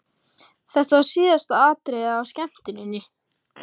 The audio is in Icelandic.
Þetta var síðasta atriðið á skemmtuninni!